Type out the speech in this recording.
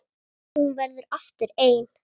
Og hún verður aftur ein.